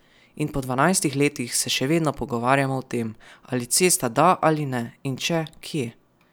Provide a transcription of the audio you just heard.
In po dvanajstih letih se še vedno pogovarjamo o tem, ali cesta da ali ne in če, kje.